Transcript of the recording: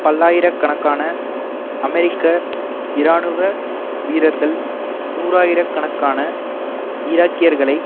பல்லாயிர கணக்கான அமெரிக்க இராணுவ வீரர்கள் நூறாயிர கணக்கான ஈராக்கியர்களை